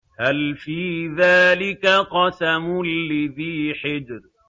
هَلْ فِي ذَٰلِكَ قَسَمٌ لِّذِي حِجْرٍ